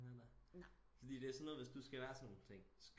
Med da fordi det er sådan noget hvis du skal være sådan nogle ting